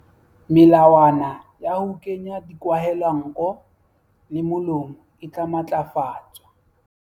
Melawana ya ho kenya dikwahelanko le molomo e tla matlafatswa.